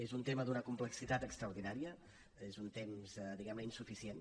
és un tema d’una complexitat extraordinària és un temps diguem ne insuficient